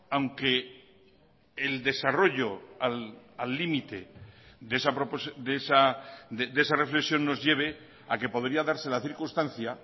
aunque el desarrollo al límite de esa reflexión nos lleve a que podría darse la circunstancia